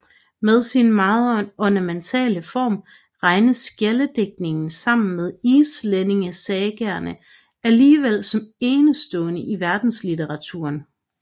Med sin meget ornamentale form regnes skjaldedigtningen sammen med islændingesagaerne alligevel som enestående i verdenslitteraturen